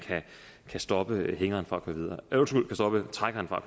kan stoppe trækkeren fra